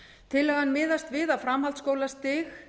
tillagan miðast við framhaldsskólastig